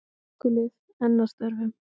Slökkvilið enn að störfum